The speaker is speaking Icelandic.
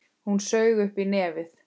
Hún saug upp í nefið.